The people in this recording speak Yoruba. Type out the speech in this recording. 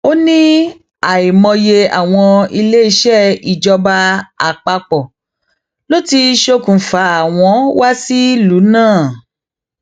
ó ní àìmọye àwọn iléeṣẹ ìjọba àpapọ ló ti ṣokùnfà wọn wá sílùú náà